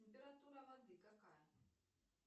температура воды какая